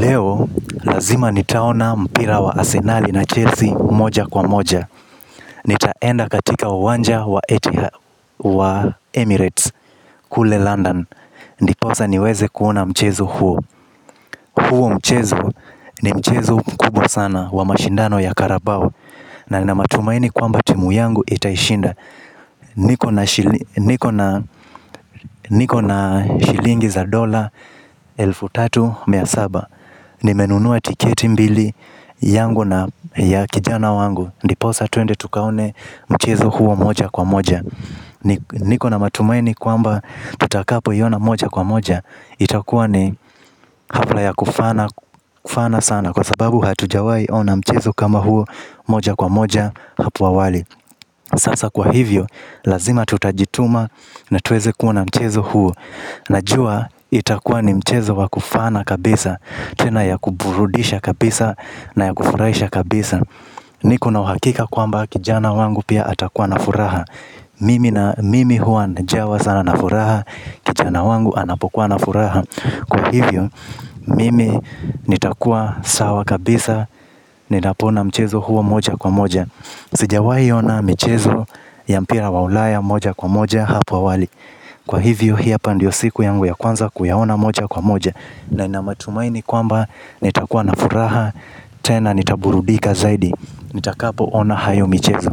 Leo, lazima nitaona mpira wa Asenali na Chelsea moja kwa moja. Nitaenda katika uwanja wa Emirates kule London. Ndiposa niweze kuona mchezo huo. Huo mchezo, ni mchezo mkubwa sana wa mashindano ya karabau. Na nina matumaini kuwa timu yangu itashinda. Niko na shilingi za dola, elfu tatu, mia saba. Nimenunua tiketi mbili yangu na ya kijana wangu ndiposa tuende tukaone mchezo huo moja kwa moja. Niko na matumaini kwamba tutakapoiona moja kwa moja itakuwa ni hafla ya kufana sana kwa sababu hatujawahi kuona mchezo kama huo moja kwa moja hapo awali. Sasa kwa hivyo lazima tutajituma na tuweze kuona mchezo huo. Najua itakuwa ni mchezo wakufana kabisa tena ya kuburudisha kabisa na ya kufuraisha kabisa. Nikona uhakika kwamba kijana wangu pia atakuwa na furaha. Mimi huwa najawa sana na furaha kijana wangu anapokuwa na furaha kwa hivyo, mimi nitakuwa sawa kabisa. Ninapoona mchezo huo moja kwa moja. Sijawahi ona michezo ya mpira wa ulaya moja kwa moja hapa awali kwa hivyo hii hapa ndiyo siku yangu ya kwanza kuyaona moja kwa moja na ninamatumaini kwamba nitakuwa na furaha. Tena nitaburudika zaidi nitakapo ona hayo michezo.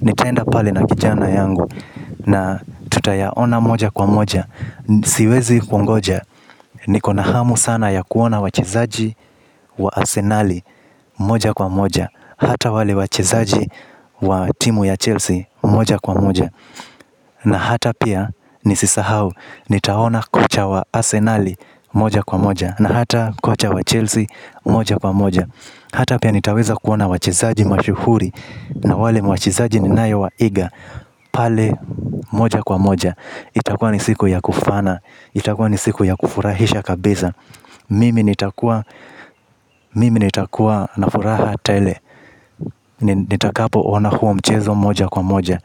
Nitaenda pale na kijana yangu. Na tutayaona moja kwa moja siwezi kungoja, niko na hamu sana ya kuona wachezaji wa asenali moja kwa moja hata wale wachezaji wa timu ya Chelsea moja kwa moja. Na hata pia nisisahau nitaona kocha wa Asenali moja kwa moja na hata kocha wa Chelsea moja kwa moja. Hata pia nitaweza kuona wachezaji mashuhuri. Na wale wachezaji ninaowaiga. Pale moja kwa moja itakuwa ni siku ya kufana, itakuwa ni siku ya kufurahisha kabisa. Mimi nitakuwa na furaha tele nitakapo ona huo mchezo moja kwa moja.